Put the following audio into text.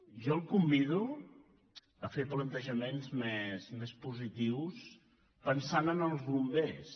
jo el convido a fer plantejaments més positius pensant en els bombers